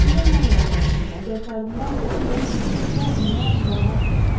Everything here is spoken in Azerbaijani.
Sizə inanıram qrafinya, əgər kardinal sizin dostunuzdursa, ona daha hirslənmərəm.